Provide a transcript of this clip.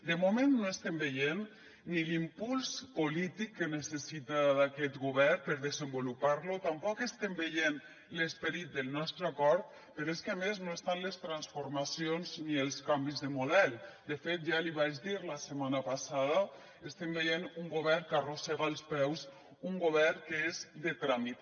de moment no estem veient ni l’impuls polític que necessita aquest govern per desenvolupar lo tampoc estem veient l’esperit del nostre acord però és que a més no estan les transformacions ni els canvis de model de fet ja l’hi vaig dir la setmana passada estem veient un govern que arrossega els peus un govern que és de tràmit